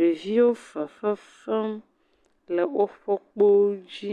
Ɖeviwo fefe fem le woƒe kpowo dzi,